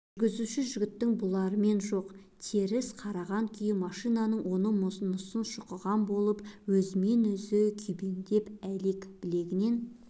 жүргізуші жігіттің бұлармен жоқ теріс қараған күй машинаның оны-мұнысын шұқыған болып өзімен-өзі күйбеңдеп әлек білегінен